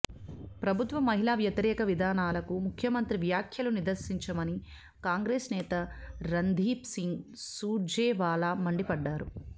ప్రభుత్వ మహిళా వ్యతిరేక విధానాలకు ముఖ్యమంత్రి వ్యాఖ్యలు నిదర్శనమని కాంగ్రెస్ నేత రణ్దీప్ సింగ్ సూర్జేవాలా మండిపడ్డారు